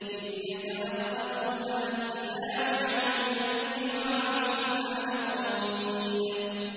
إِذْ يَتَلَقَّى الْمُتَلَقِّيَانِ عَنِ الْيَمِينِ وَعَنِ الشِّمَالِ قَعِيدٌ